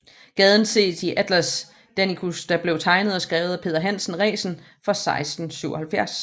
Gaden ses i Atlas Danicus der blev tegnet og skrevet af Peder Hansen Resen fra 1677